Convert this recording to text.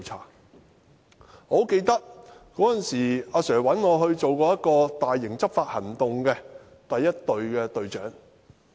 我十分記得，當時我的上司曾經找我擔任一項大型執法行動的第一隊隊長。